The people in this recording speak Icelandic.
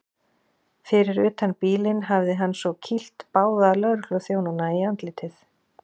Fyrir utan bílinn hafi hann svo kýlt báða lögregluþjónana í andlitið.